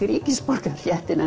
ríkisborgararéttinn